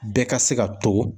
Bɛɛ ka se ka to.